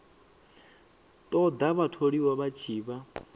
ṱoḓa vhatholiwa vha tshi vha